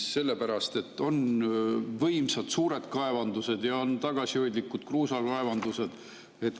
Sellepärast et on võimsad, suured kaevandused ja on tagasihoidlikud kruusakaevandused.